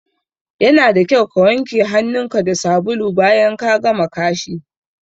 Yana da kyau ka wanke hanun mu da sabulu bayan ka gama kashi